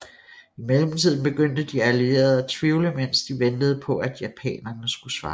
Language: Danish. I mellemtiden begyndte de allierede at tvivle mens de ventede på at japanerne skulle svare